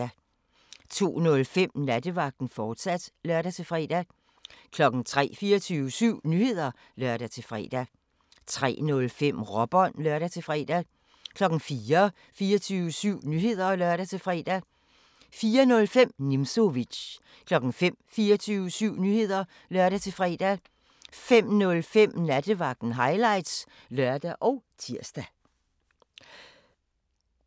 02:05: Nattevagten, fortsat (lør-fre) 03:00: 24syv Nyheder (lør-fre) 03:05: Råbånd (lør-fre) 04:00: 24syv Nyheder (lør-fre) 04:05: Nimzowitsch 05:00: 24syv Nyheder (lør-fre) 05:05: Nattevagten Highlights (lør og tir)